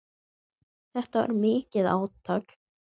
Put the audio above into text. Þetta var mikið átak.